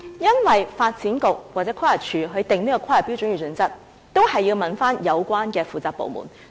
因為發展局或規劃署在制訂規劃標準與準則時，也必須諮詢有關的負責部門。